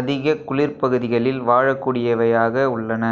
அதிக குளிர்ப்பகுதிகளில் வாழக்கூடியவையாக உள்ளன